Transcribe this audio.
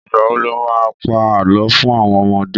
Ìgbà wo lo má pá Àlọ́ fún àwon ọmọdé?